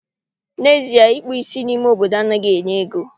N'ezie, ịkpụ ísí n'ime obodo anaghị enye ego